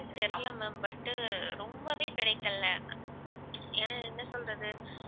தெரில ma'am but உ ரொம்பவே கிடைக்கலே ஏன் என்ன சொல்றது